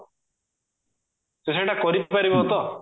ସେ ସେଇଟା କରିପାରିବ ତ?